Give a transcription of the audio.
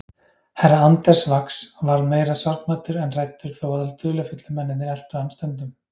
Herra Anders Ax varð meira sorgmæddur en hræddur þó að dularfullu mennirnir eltu hann stundum.